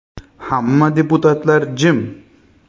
Hamma deputatlar jim.